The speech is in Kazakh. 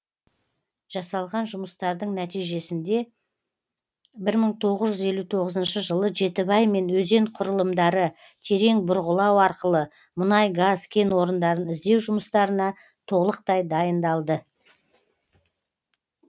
жасалған жұмыстардың нәтижесінде бір мың тоғыз жүз елу тоғызыншы жылы жетібай мен өзен құрылымдары терең бұрғылау арқылы мұнай газ кен орындарын іздеу жұмыстарына толықтай дайындалды